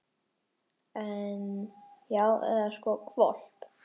En. já, eða sko hvolp.